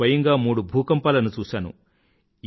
నేను స్వయంగా మూడు భూకంపాలను చూశాను